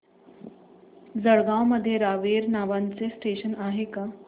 जळगाव मध्ये रावेर नावाचं स्टेशन आहे का